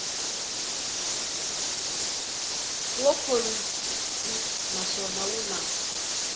wu khorwisi naswona wu na